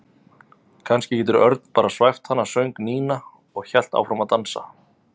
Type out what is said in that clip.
Kannski getur Örn bara svæft hana söng Nína og hélt áfram að dansa.